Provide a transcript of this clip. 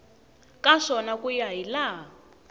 ka swona ku ya hilaha